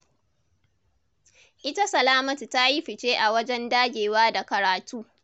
Ita Salamatu ta yi fice a wajen dagewa da karatu.